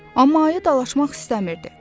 Amma ayı dalaşmaq istəmirdi.